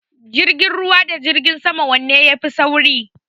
Jirgin ruwa da jirgin sama wanene ya fi sauri?